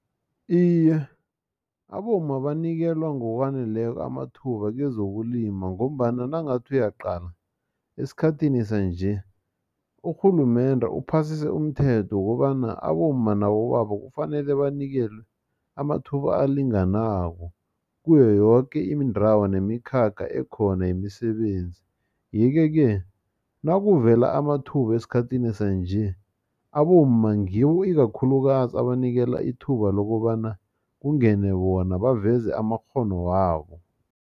Iye, abomma banikelwa ngokwaneleko amathuba kezokulima, ngombana nangathi uyaqala esikhathini sanje, urhulumende uphasise umthetho wokobana abomma nabobaba kufanele banikelwe amathuba alinganako, kuyo yoke indrawo nemikhakha ekhona yemisebenzi. Yeke-ke, nakuvele amathuba esikhathini sanje, abomma ngiwo ikakhulukazi abanikela ithuba lokobana kungene bona, baveze amakghono wabo.